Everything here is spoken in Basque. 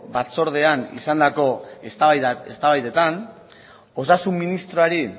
batzordean izandako eztabaidetan osasun ministroari